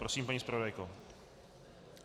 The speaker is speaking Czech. Prosím, paní zpravodajko.